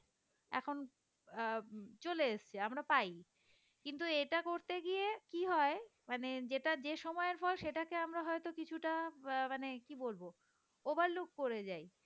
এখন আহ চলে আসছে আমরা পাই। কিন্তু এটা করতে গিয়ে কি হয় মানে যেটা যে সময় হয় সেটাকে আমরা হয়তো কিছুটা মানে কি বলবো। overlook করে যাই